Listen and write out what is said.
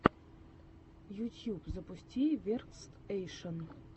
ютьюб запусти веркстэйшен